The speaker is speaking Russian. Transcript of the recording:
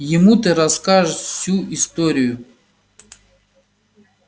ему ты расскажешь всю историю